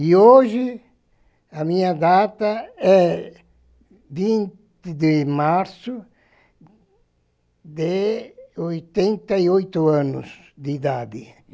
E hoje a minha data é vinte de março de oitenta e oito anos de idade.